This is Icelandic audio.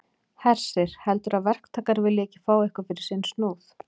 Hersir: Heldurðu að verktakar vilji ekki fá eitthvað fyrir sinn snúð?